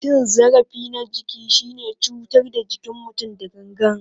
Cin zarafi na jiki shine cutar da jikin mutum da gangan.